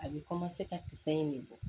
A bɛ ka kisɛ in de bɔ